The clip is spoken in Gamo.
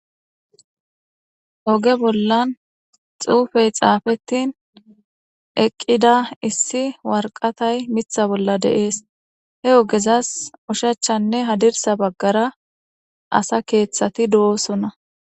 oge bollan xuufey xaafettin eqqida issi warqatay mitha bolla deees he ogezas ushachchanne hadirsa baggara asa keeththati do7osona